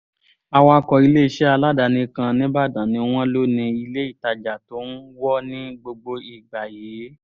awakọ̀ iléeṣẹ́ aládàáni kan nìbàdàn ni wọ́n lò ní ilé ìtajà tó ń wọ́ ní gbogbo ìgbà yìí